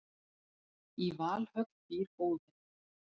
í valhöll býr óðinn